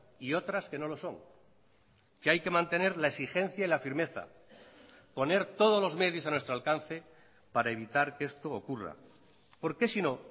y otras que no lo son que hay que mantener la exigencia y la firmeza poner todos los medios a nuestro alcance para evitar que esto ocurra porque si no